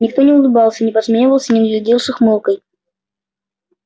никто не улыбался не подсмеивался не глядел с ухмылкой